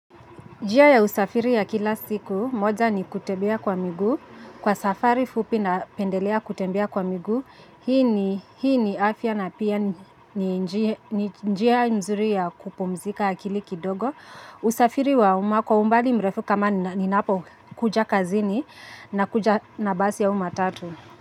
Njia ya usafiri ya kila siku, moja ni kutembea kwa miguu, kwa safari fupi napendelea kutembea kwa miguu, hii ni afya na pia ni njia nzuri ya kupumzika akili kidogo. Usafiri wa uma kwa umbali mrefu kama ninapokuja kazini nakuja na basi au matatu.